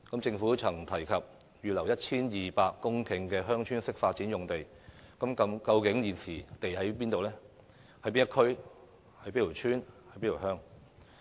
政府曾提過會預留 1,200 公頃的"鄉村式發展"用地，究竟土地在哪一區、哪一村、哪一鄉？